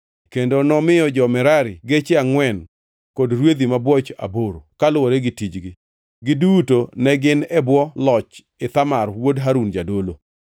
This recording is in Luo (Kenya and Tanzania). kendo nomiyo jo-Merari geche angʼwen kod rwedhi mabwoch aboro, kaluwore gi tijgi. Giduto ne gin e bwo loch Ithamar ma wuod Harun jadolo.